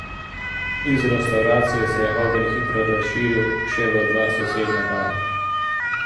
Iz restavracije se je ogenj hitro razširil še v dva sosednja bara.